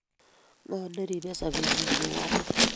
Ngo neribe sobenyi ku ane?